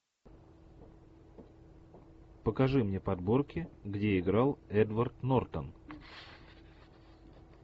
покажи мне подборки где играл эдвард нортон